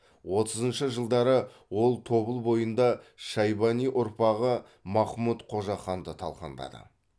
отызыншы жылдары ол тобыл бойында шайбани ұрпағы махмұт қожаханды талқандады